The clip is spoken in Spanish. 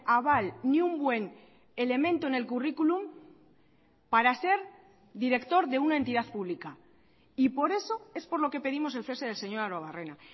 aval ni un buen elemento en el currículum para ser director de una entidad pública y por eso es por lo que pedimos el cese del señor arruebarrena